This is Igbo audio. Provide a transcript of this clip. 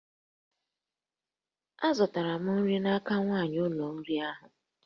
Azụtara m nri n'aka nwanyị ụlọ nri ahu